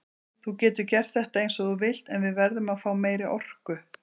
Þú getur gert þetta eins og þú vilt en við verðum að fá meiri orku.